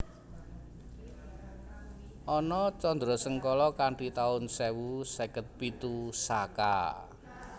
Ana candrasangkala kanthi taun sewu seket pitu Saka